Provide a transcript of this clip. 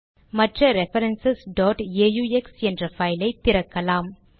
மற்ற reference aux என்ற பைலை திறக்கலாம்